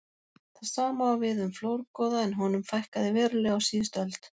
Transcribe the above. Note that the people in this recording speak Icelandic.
Það sama á við um flórgoða en honum fækkaði verulega á síðustu öld.